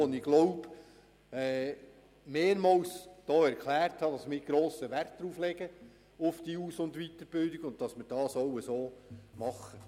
Ich denke, ich habe hier drin schon mehrmals erklärt, dass wir auf diese Aus- und Weiterbildung grossen Wert legen und auch entsprechend handeln.